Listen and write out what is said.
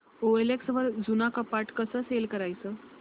OLX वर जुनं कपाट सेल कसं करायचं